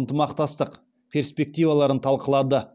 ынтымақтастық перспективаларын талқылады